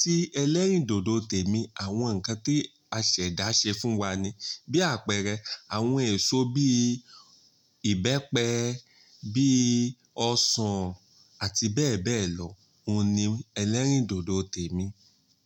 tí ẹlẹ́rìndòdò tèmi, àwọn nǹkan tí asẹ̀dá ṣe fún wa ni. Bí àpẹẹrẹ, àwọn èso bí ìbẹ́pẹ, bí ọsàn àti bẹ́ẹ̀ bẹ́ẹ̀ lọ, oun ni ẹlẹ́rìndòdò tèmi.